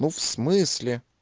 ну в смысле